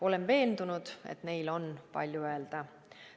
Olen veendunud, et neil on palju öelda.